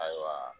Ayiwa